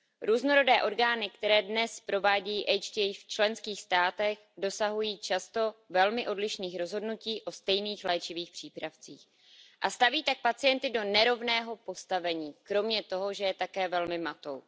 Různorodé orgány, které dnes provádějí HTA v členských státech, dosahují často velmi odlišných rozhodnutí o stejných léčivých přípravcích a staví tak pacienty do nerovného postavení kromě toho, že je také velmi matou.